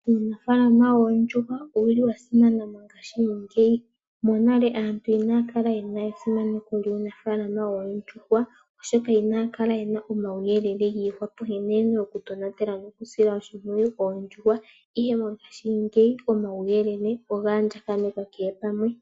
Uunafaalama woondjuhwa owuli wa simana mongaashingeyi. Monale aantu inaya kala yena esimano lyuunafaalama woondjuhwa oshoka inaya kala yena omauyelele nkene yena oku tonatela noku sila oshimpwiyu oondjuhwa ,ashike mongaashingeyi omauyelele oga andjanekwa kehe gumwe.